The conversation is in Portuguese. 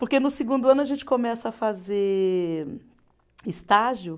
Porque no segundo ano a gente começa a fazer estágio.